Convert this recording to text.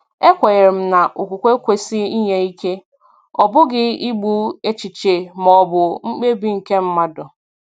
E kwenyere m na okwukwe kwesị inye ike, ọ bụghị igbu echiche maọbụ mkpebi nke mmadụ.